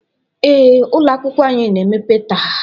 ee, ụlọ akwụkwọ anyị na-emepe taa